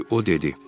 Çünki o dedi: